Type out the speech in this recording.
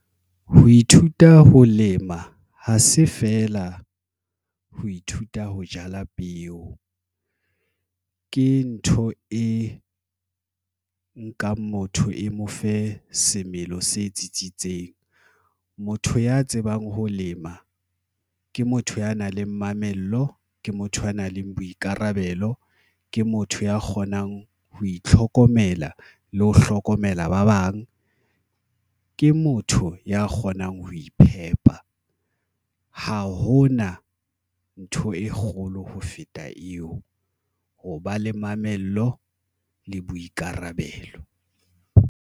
Ho ithuta ho lema ha se feela ho ithuta ho jala peo ke ntho e nkang motho e mo fe semelo se tsitsitseng, motho ya tsebang ho lema ke motho ya nang le mamello ke motho ya nang le boikarabelo ke motho ya kgonang ho itlhokomela le ho hlokomela ba bang ke motho ya kgonang ho iphepa. Ha hona ntho e kgolo ho feta eo. Ho ba le mamello le boikarabelo.